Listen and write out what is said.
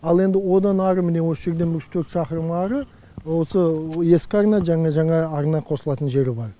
ал енді одан ары мына осы жерден үш төрт шақырым ары осы ескі арна жаңа жаңа арна қосылатын жері бар